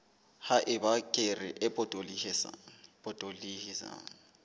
ha eba kere e potolohisang